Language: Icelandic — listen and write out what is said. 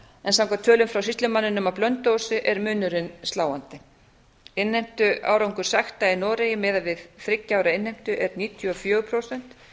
en samkvæmt tölum frá sýslumanninum á blönduósi er munurinn sláandi innheimtuárangur sekta í noregi miðað við þriggja ára innheimtu er níutíu og fjögur prósent